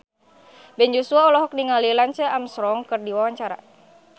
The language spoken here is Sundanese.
Ben Joshua olohok ningali Lance Armstrong keur diwawancara